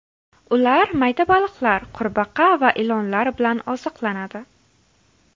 Ular mayda baliqlar, qurbaqa va ilonlar bilan oziqlanadi.